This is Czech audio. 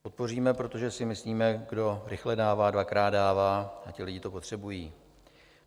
Podpoříme, protože si myslíme, kdo rychle dává, dvakrát dává, a ti lidé to potřebují.